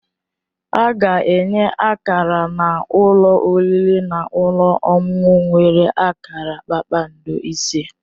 A ga-enye Akara na ụlọ oriri na ọṅụṅụ nwere akara kpakpando ise